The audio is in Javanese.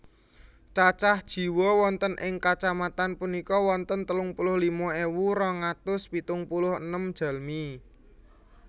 Cacah jiwa wonten ing kacamatan punika wonten telung puluh lima ewu rong atus pitung puluh enem jalmi